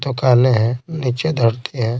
तो काले हैं नीचे धरते हैं।